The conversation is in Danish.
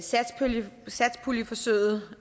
satspuljeforsøget